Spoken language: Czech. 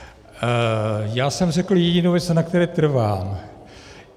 Já jsem řekl jedinou věc, na které trvám.